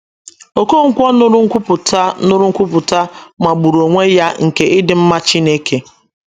Okonkwo nụrụ nkwupụta nụrụ nkwupụta magburu onwe ya nke ịdị mma Chineke